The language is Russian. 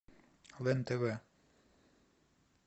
лен тв